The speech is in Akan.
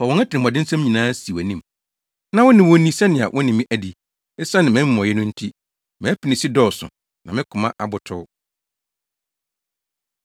“Fa wɔn atirimɔdensɛm nyinaa si wʼanim; na wo ne wɔn nni sɛnea wo ne me adi; esiane mʼamumɔyɛ no nti. Mʼapinisi dɔɔso na me koma abotow.”